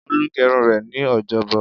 Olú gẹrun rẹ̀ ní ọjọ́bọ̀.